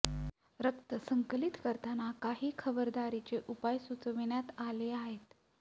रक्त संकलित करताना काही खबरदारीचे उपाय सुचविण्यात आले आहेत